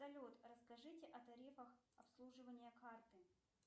салют расскажите о тарифах обслуживания карты